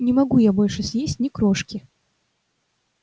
не могу я больше съесть ни крошки